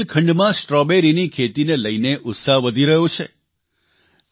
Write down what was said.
હવે બુંદેલખંડમાં સ્ટ્રોબેરીની ખેતીને લઇને ઉત્સાહ વધી રહ્યો છે